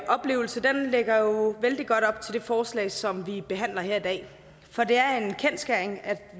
oplevelse lægger jo vældig godt op til det forslag som vi behandler her i dag for det